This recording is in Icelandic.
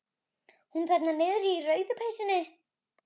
Hún þarna niðri í rauðu peysunni.